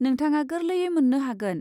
नोंथाङा गोर्लैयै मोन्नो हागोन।